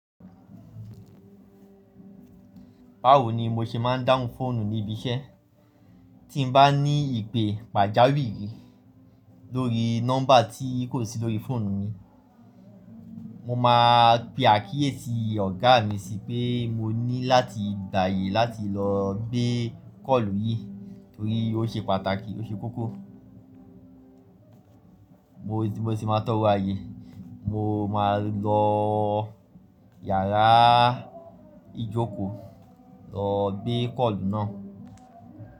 Báwo ni mo ṣe máa ń dáhùn fóònù ní ibi iṣẹ́? Tí n bá ní ìpè pàjáwìrì lórí nọ́mbà tí kò sí lórí fóònù mi, mo máa pe àkíyèsí ọ̀gá mi sí pé mo ní láti gbáyé láti lọ gbé kọ́ọ̀lù yí torí ó ṣe pàtàkì, ó ṣe kókó. Mo mo sì máa tọrọ ayé, mo máa lọ yàrá ìjókòó lọ gbé kọ́ọ̀lù náà.